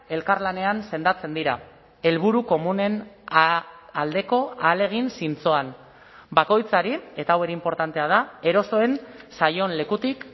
elkarlanean sendatzen dira helburu komunen aldeko ahalegin zintzoan bakoitzari eta hau ere inportantea da erosoen zaion lekutik